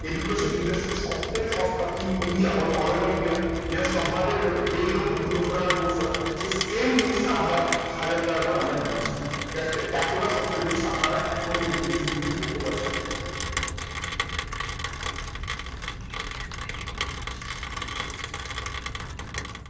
Education industry তে সব থেকে সস্তায় in india allover india যেটা stock market এ লোকে দেড় লক্ষ দুলক্ষ টাকার course হয় সেই same জিনিসটা আমরা হাজার টাকা করে আমরা নিই। এতটা সস্তা জিনিস আপনারা এখন কিন্তু experience করতে পারছেন।